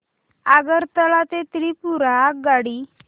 आगरतळा ते त्रिपुरा आगगाडी